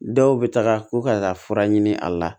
Dɔw bɛ taga ko ka taa fura ɲini a la